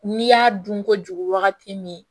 N'i y'a dun kojugu wagati min